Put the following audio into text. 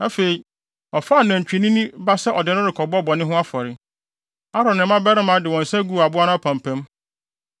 Afei, ɔfaa nantwinini ba sɛ ɔde no rekɔbɔ bɔne ho afɔre. Aaron ne ne mmabarima de wɔn nsa guu aboa no apampam.